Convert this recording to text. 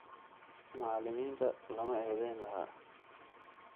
Macalimiinta lama eedayn lahaa.